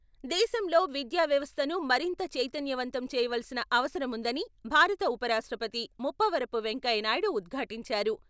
దేశంలో విద్యా వ్యవస్థను మరింత చైతన్యవంతం చేయవలసిన అవసరం వుందని భారత ఉపరాష్ట్రపతి ముప్పవరపు వెంకయ్య నాయుడు ఉద్ఘాటించారు.